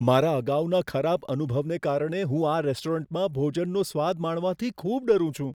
મારા અગાઉના ખરાબ અનુભવને કારણે હું આ રેસ્ટોરન્ટમાં ભોજનનો સ્વાદ માણવાથી ખૂબ ડરું છું.